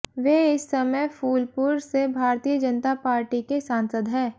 वे इस समय फूलपुर से भारतीय जनता पार्टी के सांसद है